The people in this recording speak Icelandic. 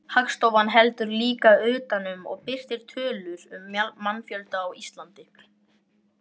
Þá stóð Árni Gautur Arason pliktina í markinu og meðal varamanna var Sigurbjörn Hreiðarsson.